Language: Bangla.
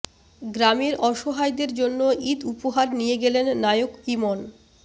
গ্রামের অসহায়দের জন্য ঈদ উপহার নিয়ে গেলেন নায়ক ইমন